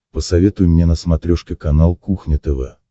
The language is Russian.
посоветуй мне на смотрешке канал кухня тв